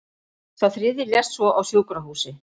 Sá þriðji lést svo á sjúkrahúsi